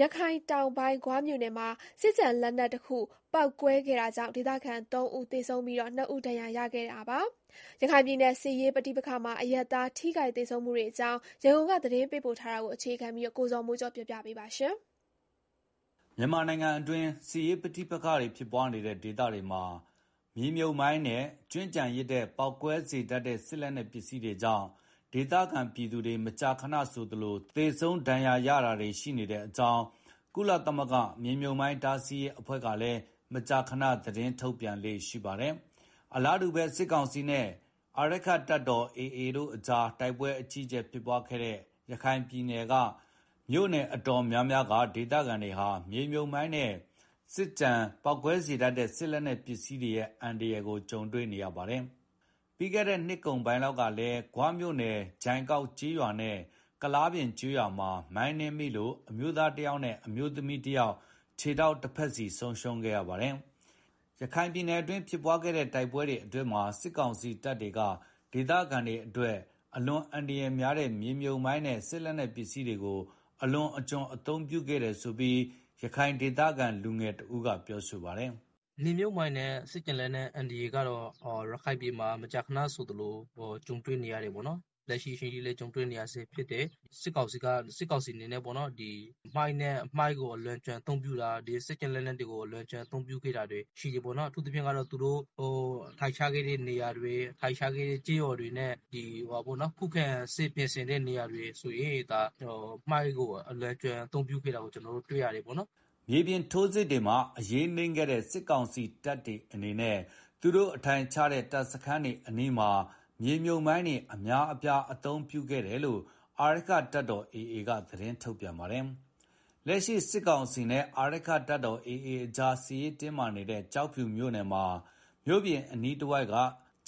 ရခိုင်တောင်ပိုင်း ဂွမြို့နယ်မှာ စစ်ကျန်လက်နက်တခုပေါက်ကွဲခဲ့တာကြောင့် ဒေသခံ ၃ ဦး သေဆုံးပြီး ၂ ဦးဒဏ်ရာရရှိခဲ့တာပါ။ ရခိုင်ပြည်နယ် စစ်ရေးပဋိပက္ခမှာ အရပ်သား ထိခိုက်သေဆုံးမှုတွေအကြောင်း ရန်ကုန်က သတင်းပေးပို့ထားတာကို အခြေခံပြီးတင်ပြထားပါတယ်။ မြန်မာနိုင်ငံအတွင်း စစ်ရေးပဋိပက္ခဖြစ်ပွားနေတဲ့ဒေသတွေမှာ မိုင်းနဲ့စစ်ကျန်လက်နက်တွေကြောင့် ဒေသခံပြည်သူတွေ မကြာခဏဆိုသလို သေဆုံးဒဏ်ရာရ တာတွေရှိနေကြောင်း ကုလသမဂ္ဂနဲ့ မြေမြှုပ်မိုင်း တားဆီးရေးအဖွဲ့တွေကလည်း မကြာခဏ သတင်းထုတ်ပြန်လေ့ရှိပါတယ်။ အလားတူပဲ စစ်ကောင်စီနဲ့ အာရက္ခတပ်တော်AA ကြား တိုက်ပွဲအကြီးအကျယ်ဖြစ်ပွားခဲ့တဲ့ ရခိုင်ပြည်နယ်က မြို့နယ်တော်တော်များများက ဒေသခံတွေ မြေမြှုပ်မိုင်းနဲ့ စစ်ကျန်လက်နက်ပစ္စည်းတွေ ပေါက်ကွဲတဲ့အန္တရာယ်တွေနဲ့ ကြုံတွေ့နေရပါတယ်။ ပြီးခဲ့တဲ့ နှစ်ကုန်ပိုင်းလောက်ကလည်း ဂွမြို့နယ် ဂျိုင်ကောက်ကျေးရွာနဲ့ ကုလားပြင်ရွာမှာ မိုင်းနင်းမိလို့ အမျိုးသားတယောက်နဲ့အမျိုးသမီးတယောက် ခြေထောက်တဖက်စီဆုံးရှုံးခဲ့ရပါတယ်။ ရခိုင်ပြည်နယ်အတွင်း ဖြစ်ပွားခဲ့တဲ့ တိုက်ပွဲတွေအတွင်းမှာ ဒေသခံတွေအတွက် အလွန်အန္တရာယ်များတဲ့ မြေမြှုပ်မိုင်းနဲ့ စစ်လက်နက်တွေကို စစ်ကောင်စီတပ်တွေက အလွန်အကျွံအသုံးပြုခဲ့တယ်ဆိုပြီး ရခိုင်ဒေသခံလူငယ်တဦးက မြင်ပါတယ်။ “မြေမြှုပ်မိုင်းနဲ့ စစ်ကျန်လက်နက်အန္တရာယ်ကတော့ ရခိုင်ပြည်နယ်မှာ မကြာခဏကြုံတွေ့နေရတယ် ပေါ့နော်။ လက်ရှိအချိန်ထိလည်း ကြုံတွေ့နေရဆဲဖြစ်တယ်။ စစ်ကောင်စီအနေနဲ့ မိုင်းကိုအလွန်အကျွံ အသုံးပြုတာ၊ လက်နက်တွေကို အလွန်အကျွံအသုံးပြုခဲ့တာတွေ ရှိတယ်ပေါ့နော်၊ အထူးသဖြင့် ကတော့ သူတို့ အထိုင်ချခဲ့တဲ့ကျေးရွာတွေမှာ၊ ခုခံစစ်ပြင်ဆင်တဲ့နေရာတွေမှာဆိုရင် မြေမြှုပ်မိုင်းကို အသုံးပြုခဲ့တာ ကျနော်တို့ တွေ့ရတယ်ပေါ့နော်။” မြေပြင်ထိုးစစ်တွေမှာ အရေးနိမ့်နေတဲ့ စစ်ကောင်စီအနေနဲ့ AA သူတို့ အထိုင်ချတဲ့တပ်စခန်းတွေနဲ့ ယာယီစခန်းတွေအနီးမှာ မြေမြှုပ်မိုင်းတွေကို အသုံးပြုပြီးတော့ ခံစစ်ပြင်လေ့ရှိတဲ့အကြောင်း အာရက္ခတပ်တော် AA က သတင်းထုတ်ပြန်ပါတယ်။ လက်ရှိစစ်ကောင်စီနဲ့ အာရက္ခတပ်တော် AA ကြား စစ်ရေးတင်းမာနေတဲ့ ကျောက်ဖြူမြို့နယ်မှာ မြို့ပြင်အနီးတဝှိက်က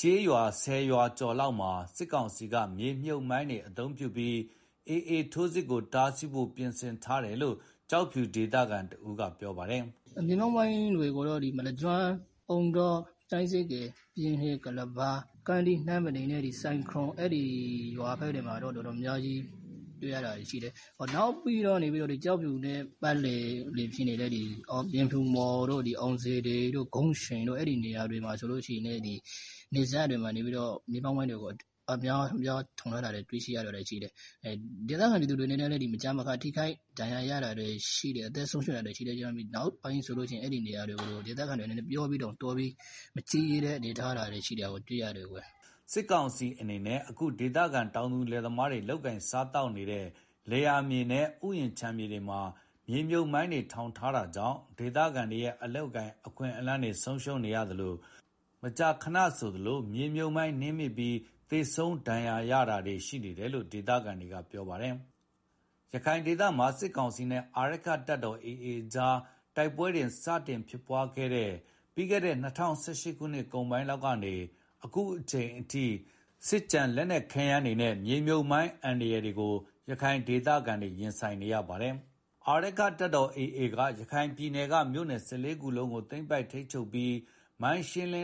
ကျေးရွာဆယ်ရွာကျော်လောက်မှာ စစ်ကောင်စီကမြေမြှုပ်မိုင်းတွေ သုံးပြီး AA ထိုးစစ်ကို တားစီးဖို့ ပြင်ဆင်ထားတယ်လို့ ကျောက်ဖြူဒေသ ခံတဦးကပြောပါတယ်။ “မြေမြှုပ်မိုင်းတွေကိုတော့ မလကျွန်း၊ ပြိုင်းစေ့ကေ၊ ပြင်ရှည်၊ ကုလဘာ၊ ကန္ဓိး၊ နမ်းဖဲတောင်နဲ့ စိုင်ခြုံ အဲဒီရွာတွေမှာတော့ အများကြီးတွေ့ရတယ်၊ နောက်ပြီးတော့ ကျောက်ဖြူမြို့ ပတ်ဝန်းကျင်က ပြင်ဖြူမော်တို့၊ အောင်စေတီတို့၊ ဂုံချွိန်တို့ အဲဒီနေရာတွေမှာဆိုရင်လည်း မြို့စပ်တွေမှာ မြေမြှုပ်မိုင်း အများပြား ထောင်ထားတာတွေ့ရတယ်။ ဒေသခံပြည်သူတွေလည်း မကြာခဏဆိုသလို ထိခိုက်သေဆုံး ဒဏ်ရာရတာတွေရှိတော့ အဲဒီနေရာတွေကို နောက်ပိုင်းမှာ မသွားရဲကြတော့တာတွေတွေ့ရတယ်။” စစ်ကောင်စီအနေနဲ့ အခု ဒေသခံတောင်သူလယ်သမားတွေ လုပ်ကိုင်စားသောက်နေတဲ့ လယ်ယာမြေ တွေနဲ့ ဥယျာဉ်ခြံမြေတွေမှာ မြေမြှုပ်မိုင်းတွေ ထောင်ထားတာကြောင့် ဒေသခံတွေရဲ့ အလုပ်အကိုင် အခွင့်အလမ်းတွေလည်း ဆုံးရှုံးနေရသလို မကြာခဏဆိုသလို မိုင်းနင်းမိပြီး သေဆုံးဒဏ်ရာရတာတွေနဲ့ ရင်ဆိုင်နေရတယ်လို့ ဒေသခံတွေက ပြောပါတယ်။ ရခိုင်ဒေသမှာ စစ်ကောင်စီနဲ့ အာရက္ခတပ်တော် AA ကြား တိုက်ပွဲတွေ စတင်ဖြစ်ပွားခဲ့တဲ့ ပြီးခဲ့တဲ့ ၂၀၁၈ အကုန်ပိုင်းလောက်ကနေ အခုအချိန်အထိ အခုလို စစ်ကျန်လက်နက်တွေနဲ့ မြေမြှုပ်မိုင်း အန္တရာယ်တွေကို ရခိုင်ဒေသခံတွေ ရင်ဆိုင်နေရတာပါ။ အာရက္ခတပ်တော် AA က ရခိုင်ပြည်နယ်က မြို့နယ် ၁၄ ခုကို သိမ်းပိုက်ထိန်းချုပ်ပြီး မိုင်းရှင်းနေ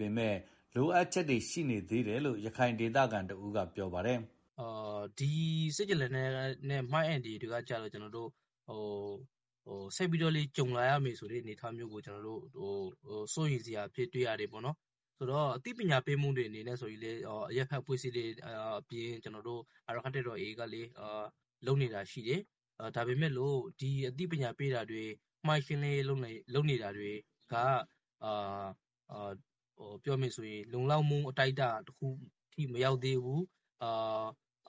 ပေမယ့် လိုအပ်ချက်တွေရှိနေသေးတယ်လို့ ရခိုင်ဒေသခံတဦးကပြောပါတယ်။ “ဒီစစ်ကျန်လက်နက်နဲ့ မိုင်းအန္တရာယ်ကတော့ ဆက်ပြီးတော့လည်း ကြုံလာရမယ့်အနေအထားကို စိုးရိမ်စရာအဖြစ်တွေ့နေရတယ်။ အသိပညာပေးအနေနဲ့ကတော့ အရပ်ဘက်အဖွဲ့အစည်းတွေအပြင် အာရက္ခတပ်တော် AA ဘက်ကလည်း လုပ်နေတာရှိတယ်။ ဒါပေမယ့်လည်း ဒီအသိပညာပေးတာတွေ မိုင်းရှင်းလင်းရေးလုပ်နေတာက ပြောရမယ်ဆိုရင် လုံလောက်မှု အတိုင်းအတာတခုအထိ မရောက်သေး ဘူး။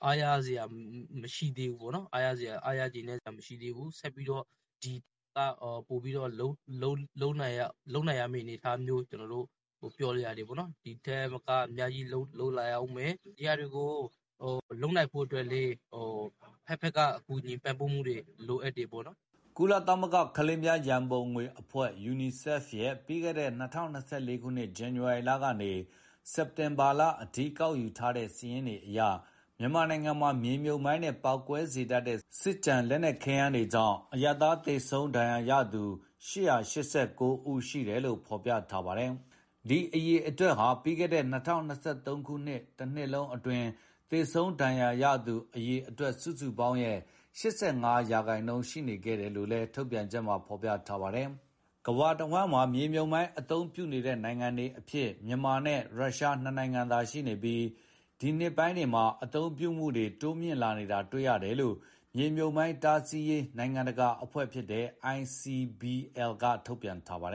အားရစရာမရှိသေးဘူးပေါ့နော်၊ ဒီထက်ပိုပြီးတော့ လုပ်ရမယ့် အနေအထားမျိုး တွေ့ရတယ်။ ဒီဟာတွေကိုလုပ်နိုင်ဖို့လည်း အဘက်ဘက်က ကူညီထောက်ပံ့ဖို့ လိုအပ်တယ်။” ကုလသမဂ္ဂကလေးများရံပုံငွေအဖွဲ့ ရဲ့ ပြီးခဲ့တဲ့ ၂၀၂၄ ခုနှစ်ဇန်နဝါရီလကနေ စက်တင်ဘာလ အထိကောက်ယူထားတဲ့စာရင်းအရ မြန်မာနိုင်ငံမှာ မြေမြှုပ်မိုင်းနဲ့ ပေါက်ကွဲစေတတ်တဲ့ စစ်ကျန် လက်နက်ပစ္စည်းတွေကြောင့် အရပ်သားသေဆုံးဒဏ်ရာရသူ ၈၈၉ ဦးအထိရှိတယ်လို့ ဖော်ပြထား ပါတယ်။ ဒီအရေအတွက်ဟာ ပြီးခဲ့တဲ့ ၂၀၂၃ ခုနှစ်တနှစ်လုံးအတွင်း သေဆုံးဒဏ်ရာရသူ အရေအတွက် စုစုပေါင်းရဲ့ ရာခိုင်နှုန်း ရှိနေခဲ့တယ်လို့လည်း ထုတ်ပြန်ချက်မှာဖော်ပြထားတာပါ။ ကမ္ဘာတဝှမ်းမှာ မြေမြှုပ်မိုင်း အသုံးပြုနေတေဲ့နိုင်ငံတွေအဖြစ် မြန်မာနဲ့ ရုရှား နှစ်နိုင်ငံသာရှိနေပြီး ဒီနှစ်ပိုင်းတွေမှာ အသုံးပြုမှုတွေ တိုးမြှင့်လာနေတာတွေ့ရတယ်လို့ မြေမြှုပ်မိုင်း တားဆီးရေး နိုင်ငံတကာအဖွဲ့ ICBL က ထုတ်ပြန်ထားပါတယ်